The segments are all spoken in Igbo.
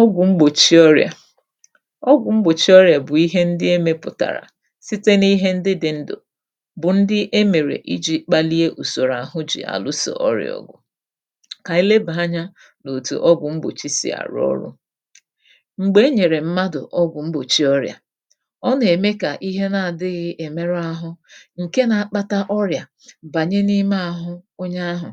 Ọgwụ̀ mgbòchi ọrị̀à. Ọgwụ̀ mgbòchi ọrị̀à bụ̀ ihe ndị e mepụ̀tàrà site n’ihe ndị dị̇ ǹdụ bụ̀ ndị e mèrè iji̇ kpalie ùsòrò àhụ jì àlụsò ọrị̀à ọgụ. Kà ànyị lebà anyȧ n’òtù ọgwụ̀ mgbòchi sì arụ̀ ọrụ̇. M̀gbè e nyèrè mmadụ̀ ọgwụ̀ mgbòchi ọrị̀à, ọ nà-ème kà ihe na-adịghị èmerụ àhụ ǹke na-akpata ọrị̀à bànye n’ime àhụ onye ahụ̀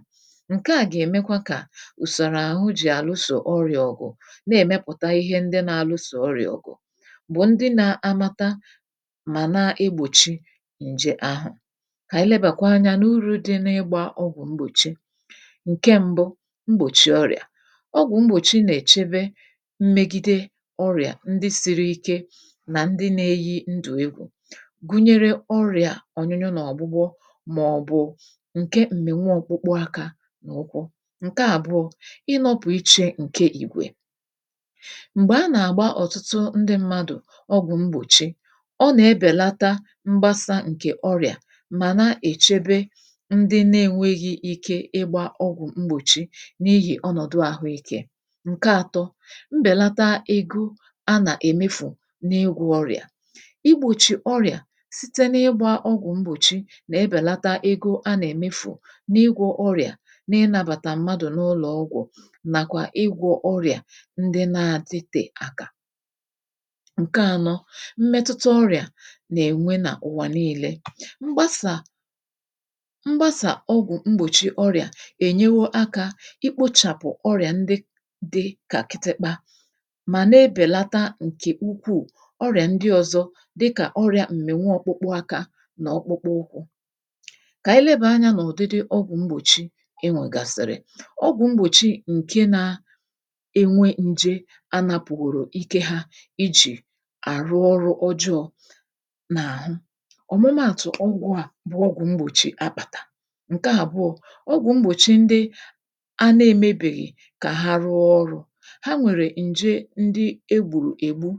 ǹke à gà-èmekwa kà usoro ahụ ji alụso ọrịa ọgụ na-èmepụ̀ta ihe ndị na-alụsò ọrịà ọgụ bụ̀ ndị na-amata mà na-egbòchi ǹje ahụ̀. Kà ànyị lebàkwa anyȧ n’urù dị n’ịgbȧ ọgwụ̀ mgbòchi, ǹke mbụ, mgbòchi ọrịà. Ọgwụ̀ mgbòchi nà-èchebe mmegide ọrịà ndị siri ike nà ndị na-eyi ndụ̀ egwụ̀ gụnyere ọrịà ọ̀nyụnyụ na ọ̀gbụgbọ màọbụ̀ ǹke m̀mịnwụọkpụkpụ akȧ nà ụkwụ. Nke àbụọ, ịnọpụiche nke igwe. Mgbè a nà-àgba ọ̀tụtụ ndị mmadụ̀ ọgwụ̀ mgbòchi, ọ nà-ebèlata mgbasa ǹkè ọrị̀à mà na-èchebe ndị na-enwėghi ike ịgbȧ ọgwụ̀ mgbòchi n’ihì ọnọ̀dụ àhụ ikė. Ńke àtọ, mbèlata egȯ a nà-èmefù n’ịgwọ̇ ọrị̀à. Igbòchi ọrị̀à site n’ịgbȧ ọgwụ̀ mgbòchi nà-ebèlata egȯ a nà-èmefù n’ịgwọ̇ ọrị̀à na-inabàtà mmadụ̀ n’ụlọ̀ ọgwụ̀ ndị na-adịtè akà. Nke anọ, mmetụta ọrị̀à nà-ènwe nà ụ̀wà nii̇lė. Mgbasà mgbasà ọgwụ̀ mgbòchi ọrị̀à ènyewo akȧ ikpochàpụ̀ ọrị̀à ndị dị kà kịtị̇kpȧ mà na-ebèlata ǹkè ukwuù ọrị̀à ndị ọzọ dịkà ọrị̇ȧ m̀mịnwụ ọkpụkpụ akȧ nà ọkpụkpụ ụkwụ̇. Kà ànyị lebanyȧ nà ụ̀dịdị ọgwụ̀ mgbòchi enwègàsị̀rị̀. Ọgwụ̀ mgbòchi ǹke na enwe nje anàpùgòrò ike hȧ ijì àrụ ọrụ ọjọọ n’àhụ, ọ̀mụmaàtụ̀ ọgwụ̀ a bụ ọgwụ mgbòchi àkpàtà. Nke àbụọ, ọgwụ̀ mgbòchi ndị a na-emebèghì kà ha rụọ ọrụ̇, ha nwèrè ǹje ndị e gbùrù ègbu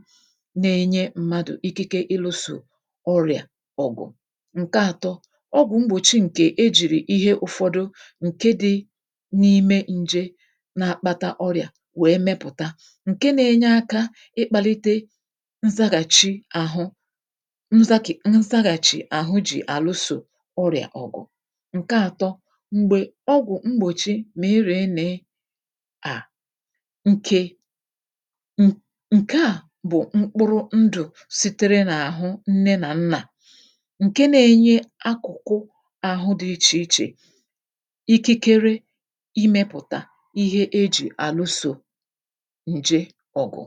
na-enye mmadụ̀ ikike ịlụ̇sò ọrịà ọ̀gụ̀. Nke àtọ, ọgwụ̀ mgbòchi ǹkè ejìrì ihe ụ̀fọdụ ǹke dị̇ n’ime nje na-akpata ọrịà wee mepụta, ǹke na-enye akȧ ịkpȧlite nzaghàchi àhụ nzȧkì nzaghàchi àhụ jì àlụsò ọrị̀à ọ̀gụ̀. Nke àtọ, m̀gbè ọgwụ̀ mgbòchi mị rị nị à ǹke um ǹke à bụ̀ mkpụrụ ndụ̀ sitere n’àhụ nne nà nnà ǹke na-enye akụ̀kụ àhụ dị̇ ichè ichè ikikere imėpụ̀tà ihe e jì àlụsò nje ọgụ.